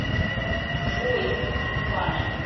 джой инфами